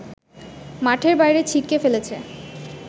মাঠের বাইরে ছিটকে ফেলেছে